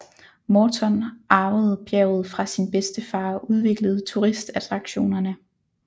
Morton arvede bjerget fra sin bedstefar og udviklede turistattraktionerne